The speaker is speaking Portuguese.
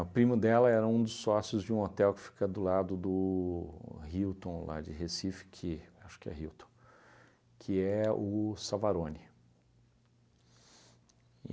O primo dela era um dos sócios de um hotel que fica do lado do Hilton, lá de Recife, que acho que é Hilton, que é o Savarone.